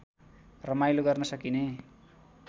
रमाइलो गर्न सकिने